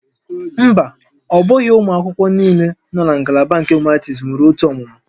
Mba, ọ bụghị ụmụ akwụkwọ niile nọ na ngalaba nke Humanities nwere otu ọmụmụ